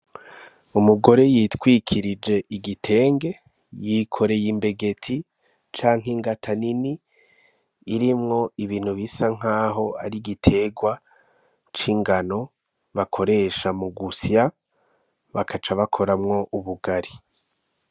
Umugore yitwikirije igitenge yikoreye imbegeti canke ingata nini irimwo ibintu bisa nk'aho ari igiterwa c'ingano bakoresha mu gusya bakaca bakoramwo ubugari.